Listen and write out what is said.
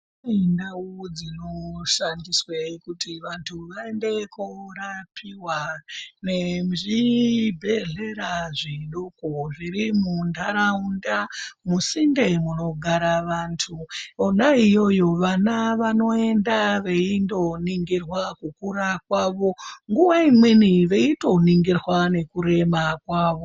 Kune ndau dzinoshandiswe kuti vantu vaendekorapiwa nezvibhedhlera zvidoko zviri muntaraunda musinte munogara vantu , Kona iyoyo vana vanoenda veindoningirwa kukura kwavo nguva imweni veitoningirwa nekureba kwavo